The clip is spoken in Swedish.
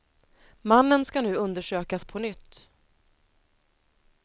Mannen ska nu undersökas på nytt.